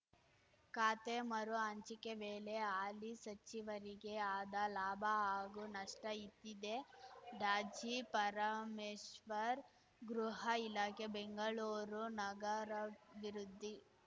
ಖಾತೆ ಮರು ಹಂಚಿಕೆ ವೇಳೆ ಹಾಲಿ ಸಚಿವರಿಗೆ ಆದ ಲಾಭ ಹಾಗೂ ನಷ್ಟಇದ್ದಿದ್ದೇ ಡಾಜಿ ಪರಮೇಶ್ವರ್‌ ಗೃಹ ಇಲಾಖೆ ಬೆಂಗಳೂರು ನಗರಾಭಿವೃದ್ಧಿ